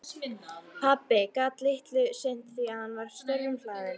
Pabbi gat litlu sinnt því að hann var störfum hlaðinn.